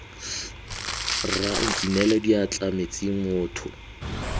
rra nkinele diatla metsing motho